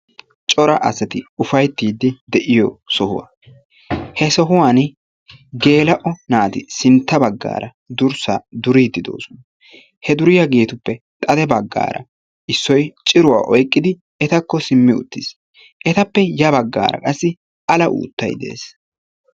Cora asati ufayttiiddi de'iyo sohuwaa he sohuwan gela"o naati sintta baggaaraa durssaa duriiddi de'osonaa. He duriyageetuppe xade baggaaraa issoyi ciruwaa oyiqqidi etakko simmi uttis. Etappe ya baggaara qassi ala uuttay de"es